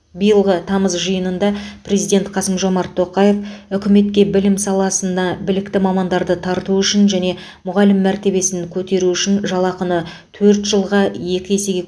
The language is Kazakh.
биылғы тамыз жиынында президент қасым жомарт тоқаев үкіметке білім саласына білікті мамандарды тарту үшін және мұғалім мәртебесін көтеру үшін жалақыны төрт жылға екі есеге